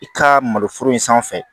I ka malo foro in sanfɛ